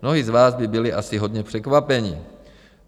Mnozí z vás by byli asi hodně překvapeni.